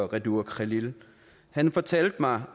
redur khalil han fortalte mig